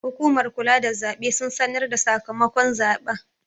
Hukumar kula da zaɓe sun sanarda sakamakon zaɓen